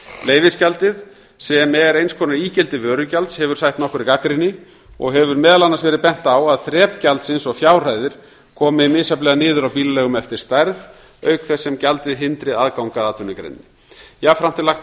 leyfisgjaldið sem er eins konar ígildi vörugjalds hefur sætt nokkurri gagnrýni og hefur meðal annars verið bent á að þrep gjaldsins og fjárhæðir komi misjafnlega niður á bílaleigum eftir stærð auk þess sem gjaldið hindri aðgang að atvinnugreininni jafnframt er lagt